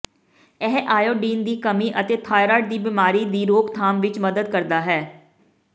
ਇਹ ਆਇਓਡੀਨ ਦੀ ਕਮੀ ਅਤੇ ਥਾਈਰੋਇਡ ਦੀ ਬਿਮਾਰੀ ਦੀ ਰੋਕਥਾਮ ਵਿੱਚ ਮਦਦ ਕਰਦਾ ਹੈ